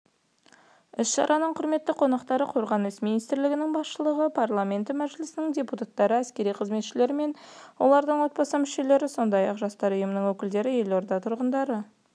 іс-шараның құрметті қонақтары қорғаныс министрлігінің басшылығы парламенті мәжілісінің депутаттары әскери қызметшілері мен олардың отбасы мүшелері сондай-ақ жастар ұйымының өкілдері елорда тұрғындары